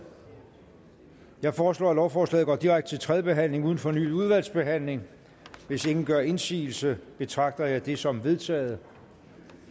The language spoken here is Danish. jeg foreslår at lovforslaget går direkte til tredje behandling uden fornyet udvalgsbehandling hvis ingen gør indsigelse betragter jeg det som vedtaget